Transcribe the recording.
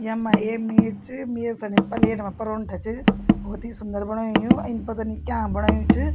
यम्मा एक मेज च मेज सणी पलेट मा परोंठा च भोत ही सुन्दर बणायु यु इन पता नी क्यांक बणायु च।